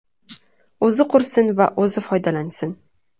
O‘zi qursin va o‘zi foydalansin.